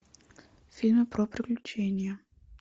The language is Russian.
фильмы про приключения